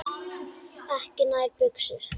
Ekki nær buxur.